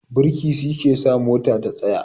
Birki shi ke sa mota ta tsaya